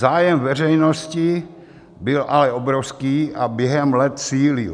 Zájem veřejnosti byl ale obrovský a během let sílil.